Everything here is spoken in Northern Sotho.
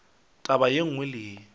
taba ye nngwe le ye